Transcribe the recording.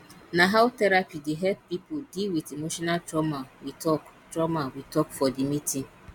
na how therapy dey help pipo deal wit emotional trauma we tok trauma we tok for di meeting